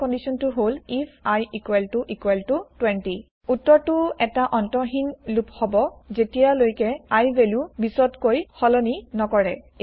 আমাৰ কন্দিচন টো হল আইএফ i 20 উত্তৰ টো এটা অন্তহিন লুপ হব যেতিয়া লৈকে I ভেলু ২০ তকৈ সলনি নকৰে